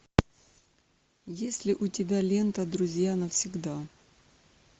есть ли у тебя лента друзья навсегда